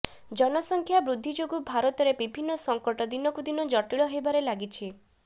ଜନସଂଖ୍ୟା ବୃଦ୍ଧି ଯୋଗୁଁ ଭାରତରେ ବିଭିନ୍ନ ସଙ୍କଟ ଦିନକୁ ଦିନ ଜଟିଳ ହେବାରେ ଲାଗିଛି